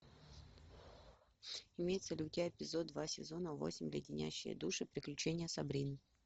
имеется ли у тебя эпизод два сезона восемь леденящие душу приключения сабрины